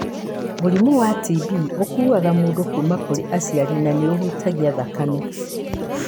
Mũrimũ wa TB ũkuaga mũndũ kuuma kũrĩ aciari na nĩ ũhutagia thakame.